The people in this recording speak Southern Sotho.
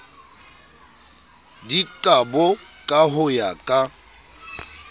dikabo ka ho ya ka